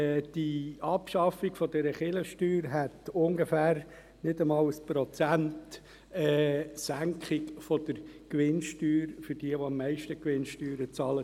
Die Abschaffung der Kirchensteuern hätte nicht einmal 1 Prozent Gewinnsteuersenkung für diejenigen Unternehmen zur Folge, die am meisten Gewinnsteuern bezahlen.